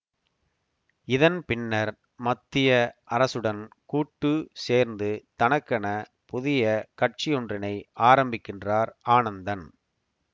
இதன்பின்னர் மத்திய அரசுடன் கூட்டு சேர்ந்து தனக்கென புதிய கட்சியொன்றினை ஆரம்பிக்கின்றார் ஆனந்தன்